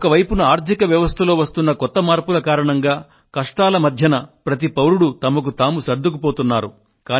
ఒకవైపున ఆర్థిక వ్యవస్థలో వస్తున్న కొత్త మార్పుల కారణంగా కష్టాల మధ్య ప్రతి పౌరుడు తమకు తాము సర్దుకుపోతున్నారు